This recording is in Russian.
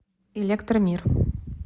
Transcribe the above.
электромир